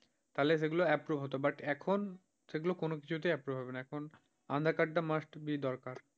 তাহলে সেগুলো approve হতো, but এখন সেগুলো কোন কিছুতেই approve হবে না, এখন aadhaar card টা must be দরকার।